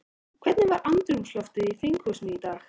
Hvernig var andrúmsloftið í þinghúsinu í dag?